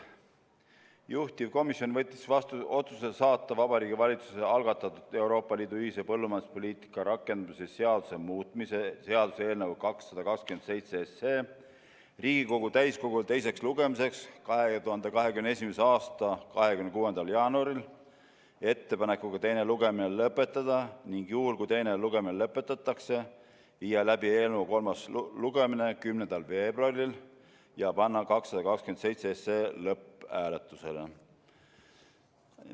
Juhtivkomisjon võttis vastu otsuse saata Vabariigi Valitsuse algatatud Euroopa Liidu ühise põllumajanduspoliitika rakendamise seaduse muutmise seaduse eelnõu 227 Riigikogu täiskogule teiseks lugemiseks 2021. aasta 26. jaanuariks ettepanekuga teine lugemine lõpetada, ning juhul kui teine lugemine lõpetatakse, viia läbi eelnõu kolmas lugemine 10. veebruaril ja panna 227 lõpphääletusele.